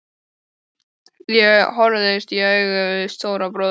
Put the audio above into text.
Ég horfðist í augu við Stóra bróður.